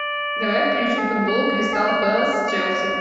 давай включим футбол кристал пэлас с челси